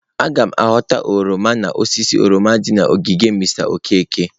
Aga m ghọta oroma n'osisi oroma dị n'ogige Mr Okeke.